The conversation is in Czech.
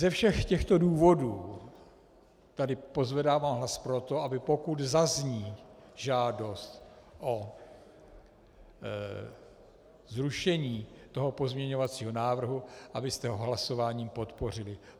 Ze všech těchto důvodů tady pozvedávám hlas pro to, aby pokud zazní žádost o zrušení toho pozměňovacího návrhu, abyste ho hlasováním podpořili.